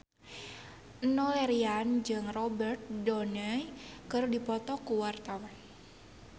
Enno Lerian jeung Robert Downey keur dipoto ku wartawan